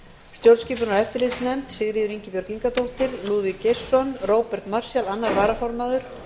stjórnskipunar og eftirlitsnefnd sigríður ingibjörg ingadóttir lúðvík geirsson róbert marshall annar varaformaður